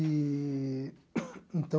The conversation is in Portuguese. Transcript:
Eee... Então...